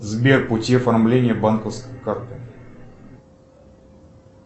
сбер пути оформления банковской карты